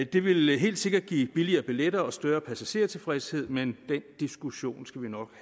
det vil helt sikkert give billigere billetter og større passagertilfredshed men den diskussion skal vi nok